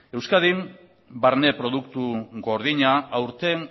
euskadin barne produktu gordina aurten